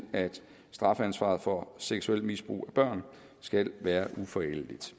at strafansvaret for seksuelt misbrug af børn skal være uforældeligt